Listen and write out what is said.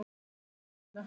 Það er megin mál hér.